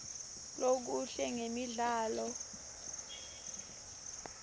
lokuhle ngemidlalo